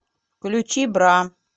включи бра